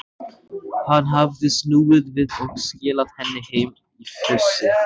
Hann hafði snúið við og skilað henni heim í fússi.